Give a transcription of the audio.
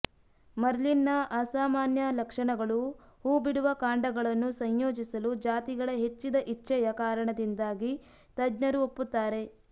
ಮರ್ಲೀನ್ನ ಅಸಾಮಾನ್ಯ ಲಕ್ಷಣಗಳು ಹೂಬಿಡುವ ಕಾಂಡಗಳನ್ನು ಸಂಯೋಜಿಸಲು ಜಾತಿಗಳ ಹೆಚ್ಚಿದ ಇಚ್ಛೆಯ ಕಾರಣದಿಂದಾಗಿ ತಜ್ಞರು ಒಪ್ಪುತ್ತಾರೆ